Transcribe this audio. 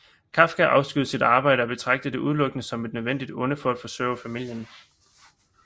Kafka afskyede sit arbejde og betragtede det udelukkende som et nødvendigt onde for at forsørge familien